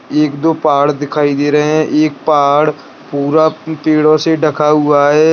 एक दो पहाड़ दिखाई दे रहे है एक पहाड़ पुरा पेड़ों से ढाका हुआ हैं।